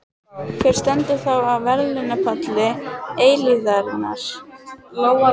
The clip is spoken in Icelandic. Hver stendur þá á verðlaunapalli eilífðarinnar?